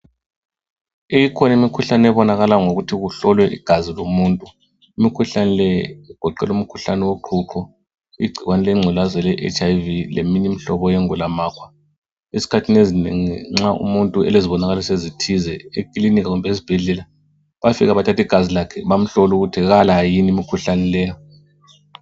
Ikhona imikhuhlane ebonakala ngokuthi kuhlolwe igazi lomuntu imikhuhlane le igoqela umkhuhlane woqhuqho igcikwane lengculaza ele Hlv leminye imihlobo yengulamakhwa. Esikhathini ezinengi nxa umuntu elezibonakaliso ezithize ekilinika kumbe ezibhedlela bafika bathathe igazi lakhe bamhlole ukuthi Kala yini imkhuhlane leyi.